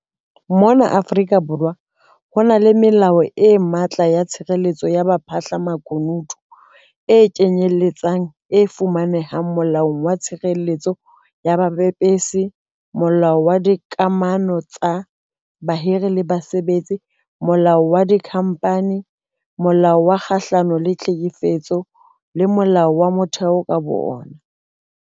Mona Afrika Borwa ho na le melao e matla ya tshireletso ya baphahlamakunutu, e kenyeletsang e fumanehang Molaong wa Tshireletso ya Bapepesi, Molaong wa Dika mano tsa Bahiri le Basebetsi, Molaong wa Dikhamphani, Molaong o Kgahlano le Tlhekefetso, le Molaong wa Motheo ka bowona.